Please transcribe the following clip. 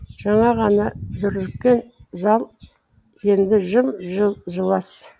жаңа ғана дүрліккен зал енді жым жылас